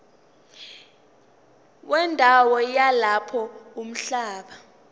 wendawo yalapho umhlaba